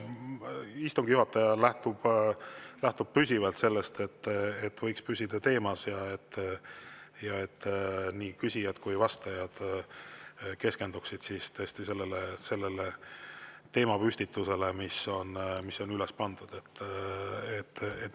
Istungi juhataja lähtub püsivalt sellest, et võiks püsida teemas ja nii küsijad kui vastajad võiksid keskenduda tõesti sellele teemale, mis on ette pandud.